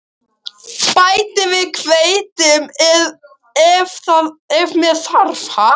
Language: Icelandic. Bætið við hveiti ef með þarf.